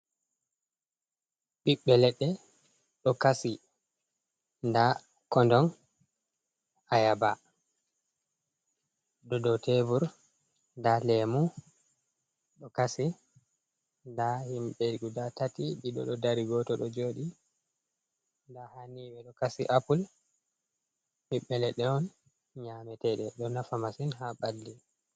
Ɓiɓɓe leɗɗe ɗo kasi. Nda kondong ayaba ɗo do tebur, nda leemu ɗo kasi, nda himɓe guda tati ɗiɗo ɗo dari, gooto ɗo joɗi. Nda haa ni ɓe ɗo kasi apul, ɓiɓɓe leɗɗe on nyaameteeɗe ɗo nafa masin haa ɓalli.